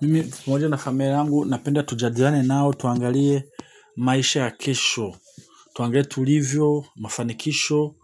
Mimi mwenyewe na familia yangu napenda tujadiliane nao tuangalie maisha ya kesho. Tuangalie tulivyo mafanikisho.